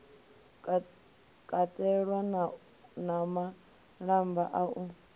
katelwa na malamba a u